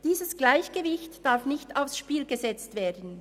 Dieses Gleichgewicht darf nicht aufs Spiel gesetzt werden.